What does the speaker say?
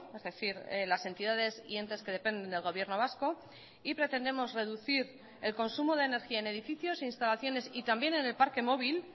es decir las entidades y entes que dependen del gobierno vasco y pretendemos reducir el consumo de energía en edificios e instalaciones y también en el parque móvil